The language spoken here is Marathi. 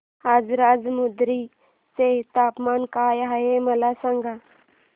आज राजमुंद्री चे तापमान काय आहे मला सांगा